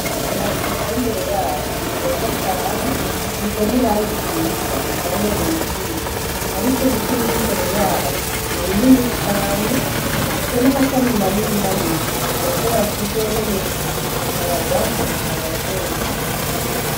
Amazu ari imbere yacu ni meza cane asize n'iranga iriza arabereye ijisho, ariko ibiti biri mbere yayo ni binini cane bifise n'amashami manini manini birashobora kuzohenuka bikayagwako agasenyuka.